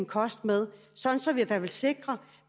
kost med sådan at vi sikrer